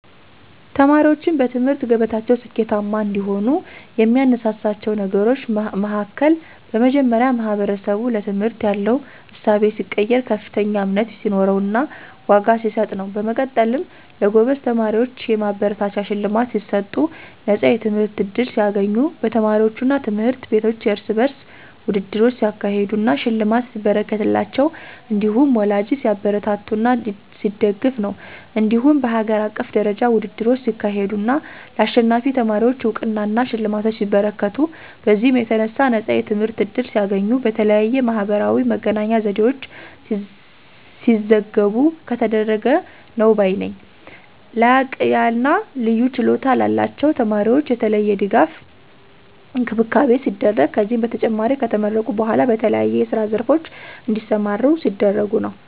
ተማሪዎችን በትምህርት ገበታቸው ስኬታማ እንዲሆኑ የሚያነሳሳቸው ነገሮች መሀከል በመጀመሪያ ማህበረሰቡ ለትምህርት ያለው እሳቤ ሲቀየር፥ ከፍተኛ እምነት ሲኖረውና ዋጋ ሲሰጥ ነው። በመቀጠልም ለጎበዝ ተማሪዎች የማበረታቻ ሽልማት ሲሰጡ፣ ነፃ የትምህርት ዕድል ሲያገኙ፣ በተማሪዎቹ አና ትምህርት ቤቶች የርስ በርስ ውድድሮች ሲያካሄዱ አና ሽልማት ሲበረከትላቸው እንዲሁም ወላጂ ሲያበረታታና ሲደግፍ ነው። እንዲሁም በሀገር አቀፍ ደረጃ ውድድሮች ሲካሄዱ አና ለአሸናፊ ተማሪወች አውቅናና ሽልማቶች ሲበረከቱ፤ በዚህም የተነሣ ነፃ የትምህርት ዕድል ሲያገኙ፣ በተለያየ የማህበራዊ መገናኛ ዘዴወች ሲዘገቡ ከተደረገ ነው ባይ ነኝ። ላቅያለና ልዩ ችሎታ ላላቸው ተማሪወች የተለየ ድጋፍና እንክብካቤ ሲደረግ፤ ከዚህም በተጨማሪ ከተመረቁ በኋላ በተለያዬ የስራ ዘርፎች እንዲሰማሩ ሲደረጉ ነው።